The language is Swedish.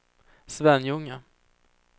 Svenljunga